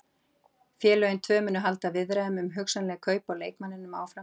Félögin tvö munu halda viðræðum um hugsanleg kaup á leikmanninum áfram.